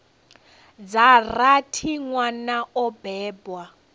dza rathi nwana o bebwa